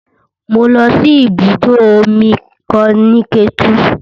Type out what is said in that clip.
Mo lọ sí ibùdó omi kan ní Ketu